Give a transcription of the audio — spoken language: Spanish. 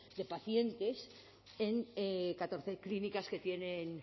de pacientes en catorce clínicas que tienen